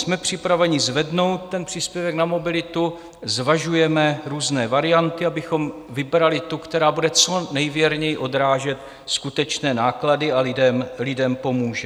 Jsme připraveni zvednout ten příspěvek na mobilitu, zvažujeme různé varianty, abychom vybrali tu, která bude co nejvěrněji odrážet skutečné náklady a lidem pomůže.